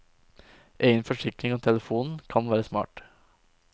Egen forsikring av telefonen kan være smart.